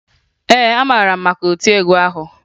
Ee, amara m maka otiegwu ahụ